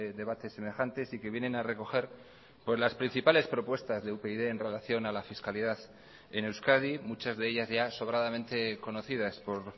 debates semejantes y que vienen a recoger las principales propuestas de upyd en relación a la fiscalidad en euskadi muchas de ellas ya sobradamente conocidas por